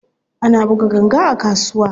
Ana buga ganga a kasuwa.